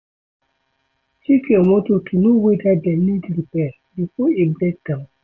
Check your motor to know weda dem need repair before e break down